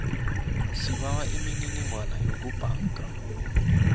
sibawa imininingwana yokubhanga